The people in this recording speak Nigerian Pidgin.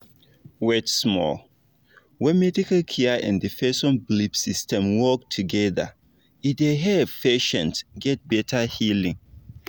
wait small when medical care and person belief system work together e dey help patients get better healing